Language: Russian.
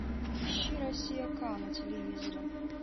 ищи россия к на телевизоре